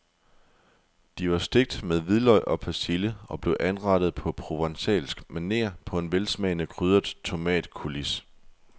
De var stegt med hvidløg og persille og blev anrettet på provencalsk maner på en velsmagende krydret tomatcoulis.